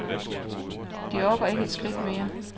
De orker ikke et skridt mere.